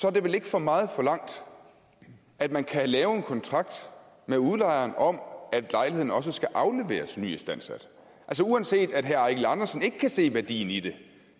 er det vel ikke for meget forlangt at man kan lave en kontrakt med udlejeren om at lejligheden også skal afleveres nyistandsat uanset at herre eigil andersen ikke kan se værdien i det